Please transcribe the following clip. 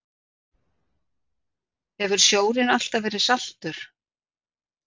Hefur sjórinn alltaf verið saltur?